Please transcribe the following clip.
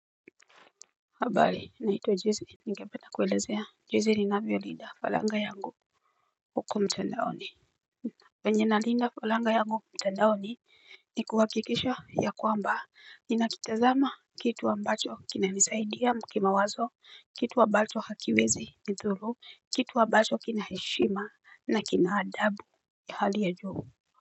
Habari naitwq Jese. Ningependa kuelezea Jeze ninavyo linda falanga yangu. Huku mtandaoni venye na linda falanga yangu mtandaone. Ni kuhakikisha ya kwamba ninakitazama. Kitu ambacho kinanisaidia mkima wazo. Kitu ambacho hakiwezi ni thuru. Kitu ambacho kinaheshima na kina adabu kihali ya juu.